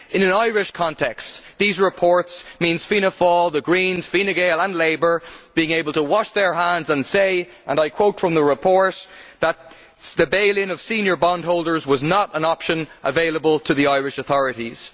In an Irish context these reports means Fianna Fáil, the Greens, Fine Gael and Labour being able to wash their hands and say and I quote from the report the bail in of senior bondholders was not an option available to the Irish authorities'.